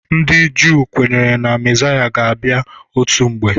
Ndị Juu kwenyere Na mezaya ha ga-abịa otu mgbe.